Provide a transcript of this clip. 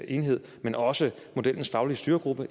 enhed men også modellens faglige styregruppe